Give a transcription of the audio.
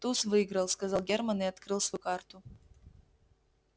туз выиграл сказал германн и открыл свою карту